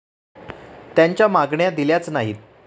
त्यांच्या मागण्या दिल्याच नाहीत.